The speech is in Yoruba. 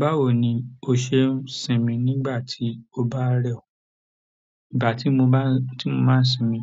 Báwo ni o ṣe ń sinmi nígbà tí ó bá rẹ̀ ọ̀? Ìgbà tí mo máa ń, tí mo máa ń sinmi